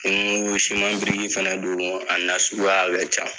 Ni ko siman biriki fɛnɛ don a nasuguya ka ca.